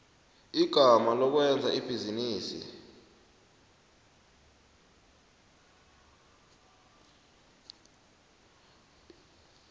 igama lokwenza ibhizinisi